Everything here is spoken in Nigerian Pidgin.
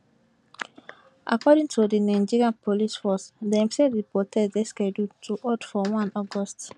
according to di nigeria police force dem say di protest dey scheduled to hold for one august